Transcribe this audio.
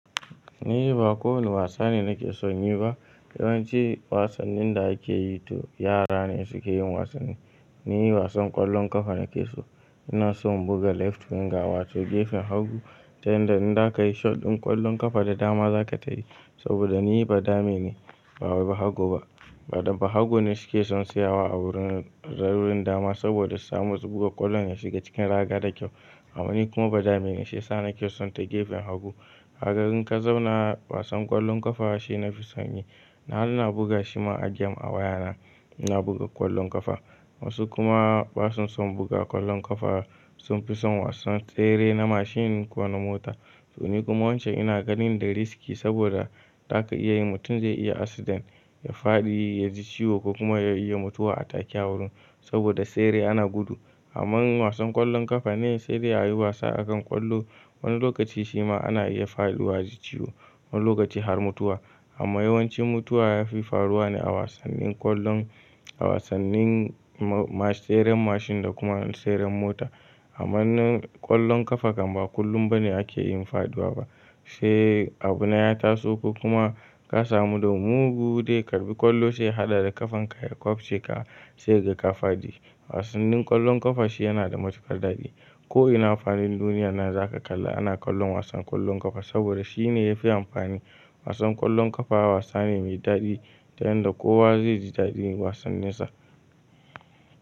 Ni ba kowane wasa ne nake son yi ba. Yawanci wasannin da ake yi to yara ne suke yin wasanni. Ni wasan ƙwallon ƙafa nake so. Ina son buga left Winger wato gefen hagu, ta yanda in za ka yi shot ɗin ƙwallon ƙafa da dama za ka tashi. Saboda ni badame ne, ba bahago ba. Da bahago ne suke son siyawa a wurin, wurin dama saboda su samu su buga ƙwallon ya shiga cikin raga da kyau. Amma ni kuma badame ne shiyasa nake son ta gefen hagu. Kaga in ka zauna wasan ƙwallon ƙafa shine nafi son yi. Nakan buga shi ma a gem a wayana. Ina buga ƙwallon ƙafa. Wasu kuma basu son buga ƙwallon ƙafa. Sun fi son wasan tsere na mashin ko na mota. To ni kuma wancan ina ganin da riski saboda za ka iya yi mutum zai iya accident, ya fadi ya ji ciwo ko kuma ya iya mutuwa a take a wurin. Saboda tsere ana gudu. Amma wasan ƙwallon ƙafa ne saidai ayi wasa akan ƙwallo. Wani lokaci shi ma ana iya faɗuwa aji ciwo, wani lokaci har mutuwa. Amma yawanci mutuwa yafi faruwa ne a wasannin ƙwallon, a wasannin masu tseren mashin da kuma tseren mota. Amma ƙwallon ƙafa kam ba kullum ba ne ake yin faduwa ba. Sai abuna ya taso ko kuma ka samu damuwa da mugu ya karɓi ƙwallo sai ya haɗa da ƙafan ka ya kwafce ka sai kaga ka fadi. Wasannin ƙwallon ƙafa shi yana da matukar daɗi. Ko ina a fadin duniyyar nan zaka ga ana kallon wasan ƙwallon ƙafa saboda shi ne ya fi amfani. Wasan ƙwallon ƙafa wasa ne mai daɗi ta yanda kowa zai ji daɗin wasanni sa.